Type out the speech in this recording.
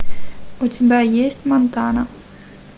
у тебя есть монтана